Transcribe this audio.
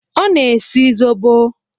Ọ na-esi zobo.